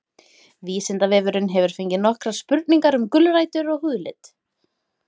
vísindavefurinn hefur fengið nokkrar spurningar um gulrætur og húðlit